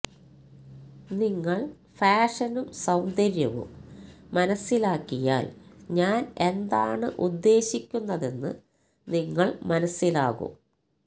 നിങ്ങൾ ഫാഷനും സൌന്ദര്യവും മനസ്സിലാക്കിയാൽ ഞാൻ എന്താണ് ഉദ്ദേശിക്കുന്നതെന്ന് നിങ്ങൾ മനസ്സിലാകും